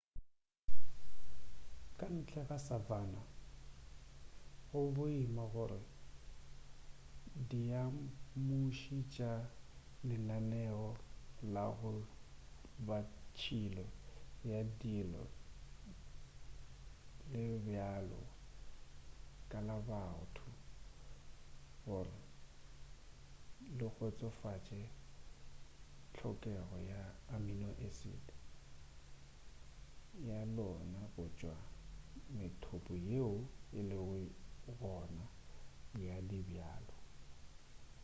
ka ntle ga savanna go boima gore diamuši tša lenaneo la go ba tšhilo ya dijo le bjalo ka la batho gore le kgotsofatše tlhokego ya amino-acid ya lona go tšwa go methopo yeo e lego gona ya dibjalo